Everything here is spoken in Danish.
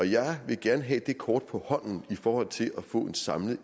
jeg vil gerne have det kort på hånden i forhold til at få en samlet